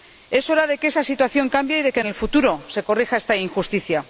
Es hora de que esa situación cambie y de que en el futuro se corrija esta injusticia.